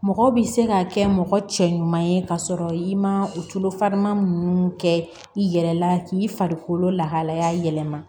Mɔgɔ bi se ka kɛ mɔgɔ cɛ ɲuman ye ka sɔrɔ i ma tuloma nunnu kɛ i yɛrɛ la k'i farikolo lahalaya yɛlɛma